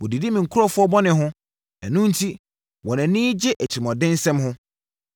Wɔdidi me nkurɔfoɔ bɔne ho ɛno enti wɔn ani gye atirimuɔdensɛm ho.